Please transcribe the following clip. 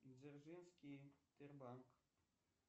дзержинский тер банк